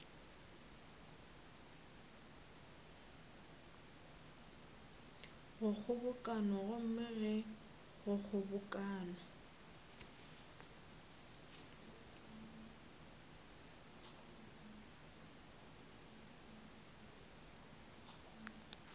go kgobokano gomme ge kgobokano